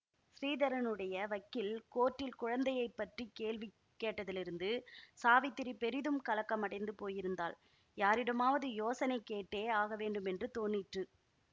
ஸ்ரீதரனுடைய வக்கீல் கோர்ட்டில் குழந்தையை பற்றி கேள்வி கேட்டதிலிருந்து சாவித்திரி பெரிதும் கலக்கமடைந்து போயிருந்தாள் யாரிடமாவது யோசனை கேட்டே ஆகவேண்டுமென்று தோனிற்று